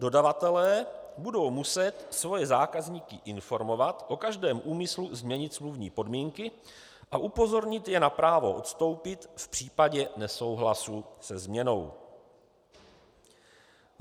Dodavatelé budou muset svoje zákazníky informovat o každém úmyslu změnit smluvní podmínky a upozornit je na právo odstoupit v případě nesouhlasu se změnou.